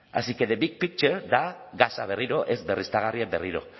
así que the big picture da gasa berriro ez berriztagarriak berriro